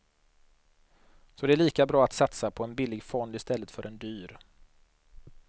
Så det är lika bra att satsa på en billig fond istället för en dyr.